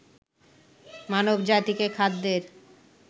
মানবজাতিকে খাদ্যের